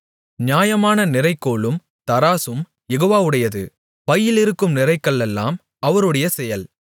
நியாயமான நிறைகோலும் தராசும் யெகோவாவுடையது பையிலிருக்கும் நிறைகல்லெல்லாம் அவருடைய செயல்